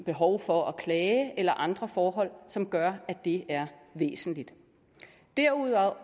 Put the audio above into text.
behov for at klage eller andre forhold som gør at det er væsentligt derudover